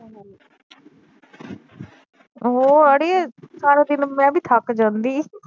ਉਹ ਅੜੀਏ ਸਾਰਾ ਦਿਨ ਮੈ ਵੀ ਥੱਕ ਜਾਂਦੀ।